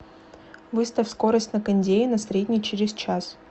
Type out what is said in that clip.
выставь скорость на кондее на средний через час